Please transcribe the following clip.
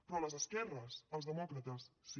però a les esquerres als demòcrates sí